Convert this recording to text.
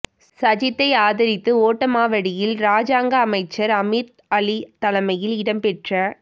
சஜித்தை ஆதரித்து ஓட்டமாவடியில் இராஜாங்க அமைச்சர் அமீர் அலி தலைமையில் இடம்பெற்ற